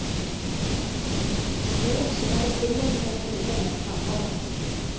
Det är också något beredningen är noga med att framhålla.